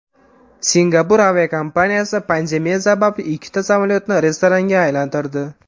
Singapur aviakompaniyasi pandemiya sababli ikkita samolyotni restoranga aylantirdi.